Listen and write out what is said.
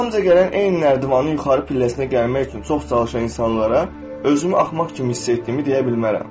Arxamca gələn eyni nərdivanı yuxarı pilləsinə gəlmək üçün çox çalışan insanlara özümü axmaq kimi hiss etdiyimi deyə bilmərəm.